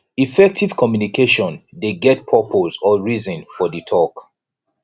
effective communication de get purpose or reason for di talk